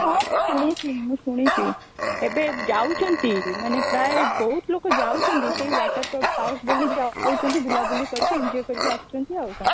ହଁ ମୁଁ ଶୁଣିଛି ମୁଁ ଶୁଣିଛି ଏବେ ଯାଉଛି ମାନେ ପ୍ରାୟ ବହୁତ ଲୋକ ଯାଉଛନ୍ତି ସେ water park ବୋଲି ଯାଉଛନ୍ତି ବୁଲା ବୁଲି କରିକି enjoy କରିକି ଅସୁଛନ୍ତି ଆଉ କଣ